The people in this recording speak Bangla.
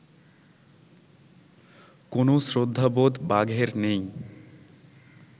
কোনও শ্রদ্ধাবোধ বাঘের নেই